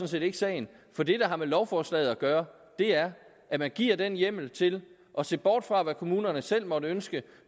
set ikke sagen for det der har med lovforslaget at gøre er at man giver den hjemmel til at se bort fra hvad kommunerne selv måtte ønske